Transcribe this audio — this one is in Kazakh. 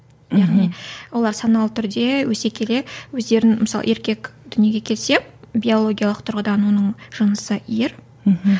яғни олар саналы түрде өсе келе өздерін мысалы еркек дүниеге келсе биологиялық тұрғыдан оның жынысы ер мхм